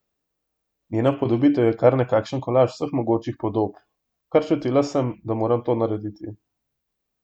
Njena upodobitev je kar nekakšen kolaž vseh mogočih podob: "Kar čutila sem, da moram to narediti.